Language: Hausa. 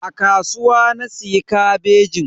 A kasuwa na siya kabejin.